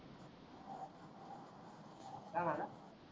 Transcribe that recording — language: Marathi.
काय मनल.